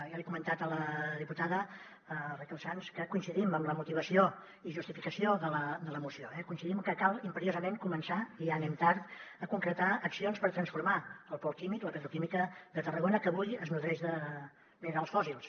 ja li he comentat a la diputada raquel sans que coincidim en la motivació i justificació de la moció eh coincidim que cal imperiosament començar i ja anem tard a concretar accions per transformar el pol químic la petroquímica de tarragona que avui es nodreix de minerals fòssils